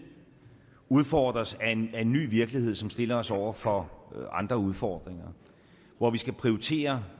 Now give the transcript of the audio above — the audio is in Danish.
udfordres af en en ny virkelighed som stiller os over for andre udfordringer hvor vi skal prioritere